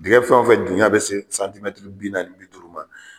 Dingin fɛnfɛn duya be se santimɛtiri bi naani bi duuru ma